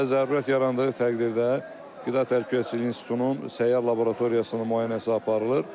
Və zərurət yarandığı təqdirdə Qida Təhlükəsizliyi İnstitutunun səyyar laboratoriyasının müayinəsi aparılır.